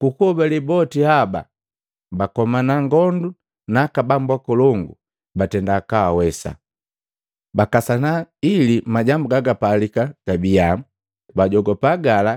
Ku kuhobale boti haba bakomana ngondu na aka bambu akolongu na batenda kaawesa. Bakasana ili majambu gagapalika gabiya, bajopa gala